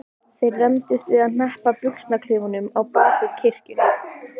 Þeir rembdust við að hneppa buxnaklaufunum á bak við kirkjuna.